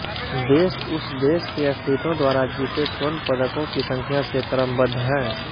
देश उस देश के एथलीटों द्वारा जीते स्वर्ण पदकों की संख्या से क्रमबद्ध हैं